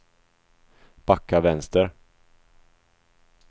backa vänster